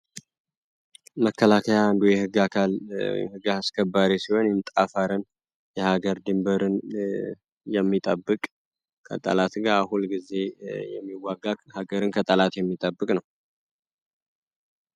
መከላከያ አንዱ የሕግ አካል አስከባሪ ሲሆን ጠፈርን፣ የሀገር ድንበርን፣ የሚጠብቅ ከጠላት ጋር ሁል ጊዜ የሚዋጋ ሀገርን ከጠላት የሚጠብቅ ነው።